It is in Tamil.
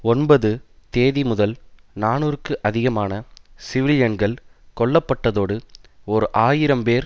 ஒன்பது தேதி முதல் நாநூறுக்கு அதிகமான சிவிலியன்கள் கொல்ல பட்டதோடு ஓர் ஆயிரம் பேர்